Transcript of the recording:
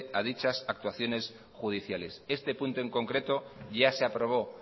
a dichas actuaciones judiciales este punto en concreto ya se aprobó